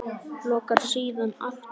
Lokar síðan aftur.